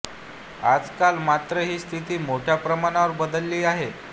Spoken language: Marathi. आजकाल मात्र ही स्थिती मोठ्या प्रमाणावर बदलली आहे